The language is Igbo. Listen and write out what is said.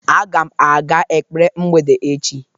agam aga ekpere mgbede echi